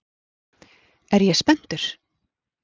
Er ég spenntur?